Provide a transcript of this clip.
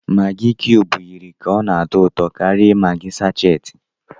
Maggi kiyubu yiri ka ọ na-atọ ụtọ karia maggi sáchééti